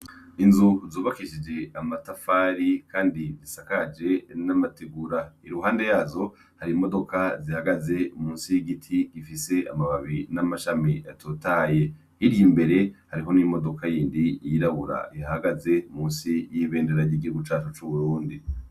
Inzu zubakishije amatafari kandi zisakaje n'amategura. Iruhande yazo, hari imodoka zihagaze munsi y'igiti, zifise amababi n'amashami atotahaye. Hirya imbere, hariho n'imodoka yindi yirabura ihahagaze, munsi y'ibendera y'igihugu cacu c'Uburundi.